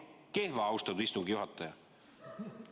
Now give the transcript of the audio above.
Kehv, austatud istungi juhataja!